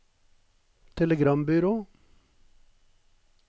telegrambyrå